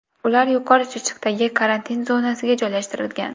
Ular Yuqori Chirchiqdagi karantin zonasiga joylashtirilgan.